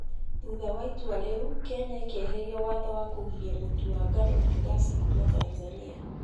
Thutha wa itua rĩu, Kenya nĩ ĩkieheria watho wa kũgiria mũtu wa ngano na ngasi kuuma Tanzania,